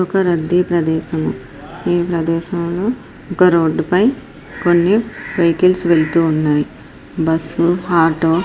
ఒక రద్దీ ప్రదేశము ఈ ప్రదేశం లో ఒక రోడ్డు పై కొన్ని వెహికల్స్ వెళ్తూ ఉన్నాయి బస్ ఆటో --